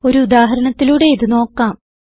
ഒരു ഉദാഹരണത്തിലൂടെ ഇത് നോക്കാം